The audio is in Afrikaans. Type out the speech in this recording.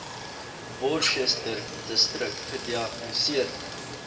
worcesterdistrik gediagnoseer